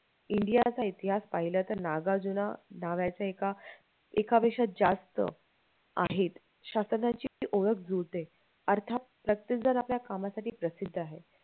India चा इतिहास पाहिला तर नागार्जुना नावाचं एका एका पेक्षा जास्तं आहेत शासनाची ती ओळख जुळते अर्थात प्रत्येक जण आपल्या कामासाठी प्रसिद्ध आहे